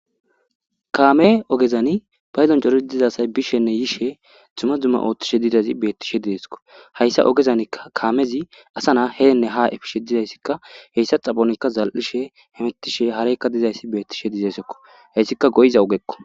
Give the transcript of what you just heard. Kaame ogezani pydoni coriza asay bishenne yishe dumma dumma othishe dizaysi beetizaysako. hayssa ogezanika kamezi asa nayta heene haa efishe dizaysi,hessa xaphonika zal'ishe hemetishe hareyka dizaysi beetishe dizaysako. Heysika go'iza ogeko.